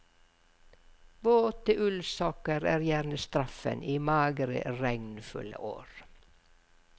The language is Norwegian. Våte ullsokker er gjerne straffen i magre, regnfulle år.